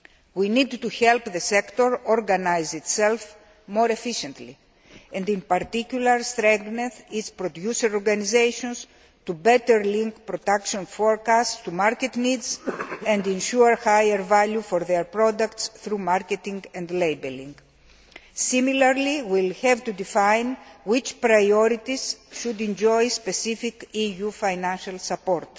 We need to help the sector organise itself more efficiently and in particular strengthen its producer organisations to better link production forecasts to market needs and ensure higher value for their products through marketing and labelling. Similarly, we will have to define which priorities should enjoy specific EU financial support.